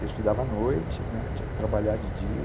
Eu estudava à noite, tinha que trabalhar de dia.